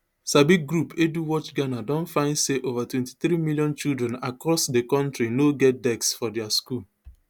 sabi group eduwatch ghana don find say ova twenty-three million children across di kontri no get desks for dia school